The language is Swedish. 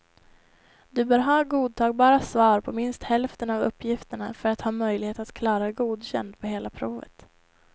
Du bör ha godtagbara svar på minst hälften av uppgifterna för att ha möjlighet att klara godkänd på hela provet.